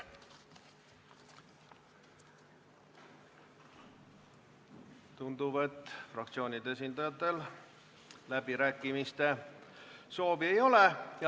Tundub, et fraktsioonide esindajatel läbirääkimiste soovi ei ole.